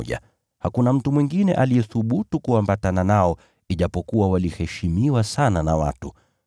Hakuna mtu mwingine aliyethubutu kuambatana nao ijapokuwa waliheshimiwa sana na watu.